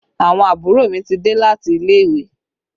Àwọn àbúrò mi ti dé láti ilé ìwé